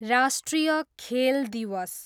राष्ट्रिय खेल दिवस